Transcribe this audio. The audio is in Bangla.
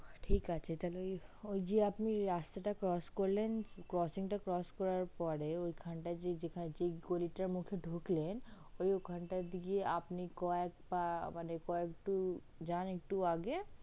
ঠিক আছে তালে ঐ যে আপনি রাস্তা টা crotch করলেন crotching টা crotch করার পরে ওখান টা য় যে গলিটার মুখে ঢুকলেন ওখান টার দিকে আপনে কয়েক পা মানে কয়েক টু যান একটু আগে